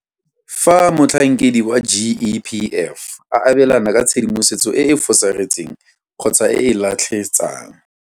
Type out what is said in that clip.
Fa motlhankedi wa GEPF a abelana ka tshedimosetso e e fosagetseng kgotsa e e latlhetsang.